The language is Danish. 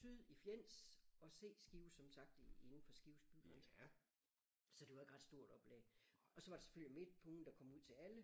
Syd i Fjends og C Skive som sagt i inden for Skives bygrænse så det var ikke ret stort oplag og så var der selvfølgelig Midt På Ugen der kom ud til alle